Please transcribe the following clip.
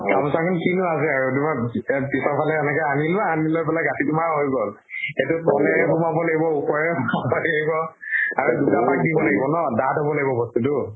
গামোছা খন কিনো আছে আৰু দুখন এহ পিছৰ ফালে এনেকে আনি লোৱা, আনি লৈ পালে গাঠিটো মাৰা হৈ গল। সেইটো তলে সোমাব লাগিব, ওপৰে সোমাব লাগিব আৰি দুটা পাক দিব লাগিব ন, ডাঠ হব লাগিব বস্তু টো।